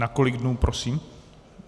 Na kolik dnů, prosím?